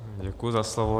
Děkuji za slovo.